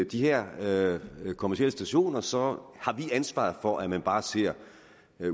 de her her kommercielle stationer så har vi ansvaret for at man bare ser